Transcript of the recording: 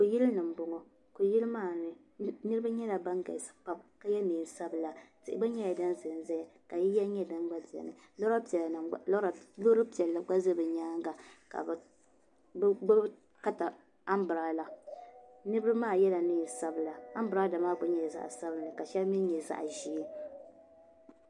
Kuyili ni m bɔŋɔ kuyili maa ni niriba nyɛla ban galisi pam ka yɛ nɛɛn sabila tihi gba nyɛla din zanzaya ka yiya nyɛ din gba beni loori piɛlli gba za bɛ nyaanga ka bɛ gbubi kata ambiraala niriba maa yɛla nɛɛn sabila ambiraala maa nyɛla zaɣ sabinli ka shɛli mi nyɛ zaɣ ʒɛɛ.